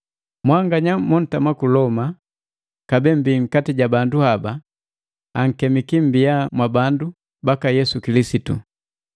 Mwanganya montama ku Loma kabee mmbi nkati ja bandu haba, ankemiki mmbia mwabandu baka Yesu Kilisitu.